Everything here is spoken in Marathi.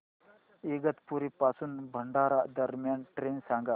इगतपुरी पासून भंडारा दरम्यान ट्रेन सांगा